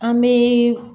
An bɛ